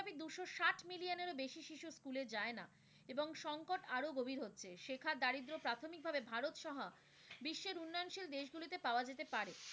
সে school এ যায়না এবং সংকট আরও গভীর হচ্ছে, সেখানে দারিদ্র প্রাথমিকভাবে ভারতসহ বিশ্বের উন্নয়নশীল দেশগুলিতে পাওয়া যেতে পারে,